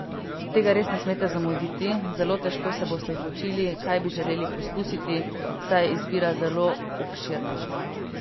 Tega res ne smete zamuditi, zelo težko se boste odločili, kaj bi želeli poskusiti, saj je izbira zelo obširna.